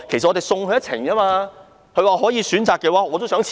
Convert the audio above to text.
她說道，如果可以選擇的話，她也想辭職。